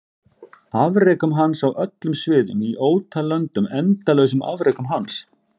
Afrekum hans á öllum sviðum í ótal löndum endalausum afrekum hans?